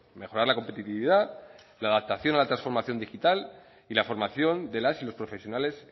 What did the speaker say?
mejorar la competitividad la adaptación a la transformación digital y la formación de las y los profesionales